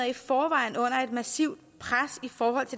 i forvejen under et massivt